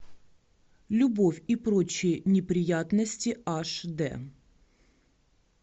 любовь и прочие неприятности аш д